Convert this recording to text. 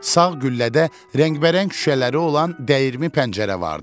Sağ güllədə rəngbərəng şüşələri olan dəyirmi pəncərə vardı.